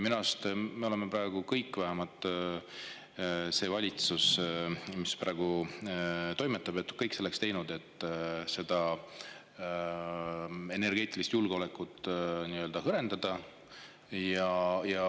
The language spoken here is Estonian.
Minu arust me oleme praegu teinud kõik, vähemalt see valitsus, mis praegu toimetab, on teinud kõik selleks, et energeetilist julgeolekut hõrendada.